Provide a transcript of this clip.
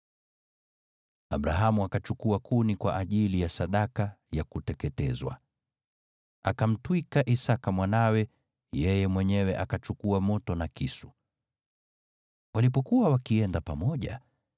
Abrahamu akachukua kuni kwa ajili ya sadaka ya kuteketezwa, akamtwika Isaki mwanawe, yeye mwenyewe akachukua moto na kisu. Walipokuwa wakienda pamoja,